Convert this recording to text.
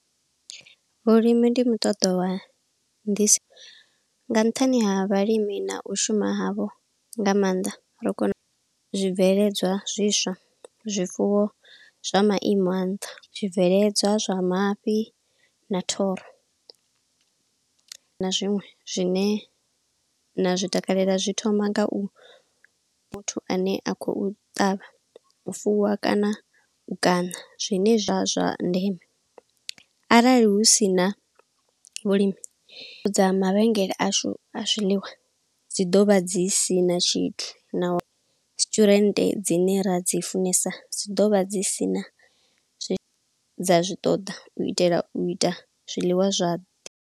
Vhulimi ndi muṱoḓo wana ndi si, nga nṱhani ha vhalimi na u shuma havho nga maanḓa, ri kone zwibveledzwa zwiswa, zwifuwo zwa maimo a nṱha, zwibveledzwa zwa mafhi, na thoro, na zwiṅwe zwine na zwi takalela. Zwi thoma nga u muthu ane a khou ṱavha, u fuwa, kana u kaṋa zwine zwa zwa ndeme. Arali hu si na vhulimi, dza mavhengele ashu a zwiḽiwa, dzi ḓovha dzi sina tshithu, na resturant dzine ra dzi funesa, dzi ḓovha dzi sina zwi, dza zwi ṱoḓa. U itela u ita zwiḽiwa zwa.